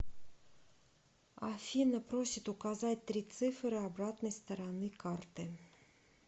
афина просит указать три цифры обратной стороны карты